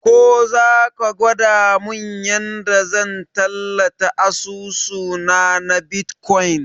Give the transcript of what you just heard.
Ko zaka gwada mun yanda zan tallata asusuna na bitkwain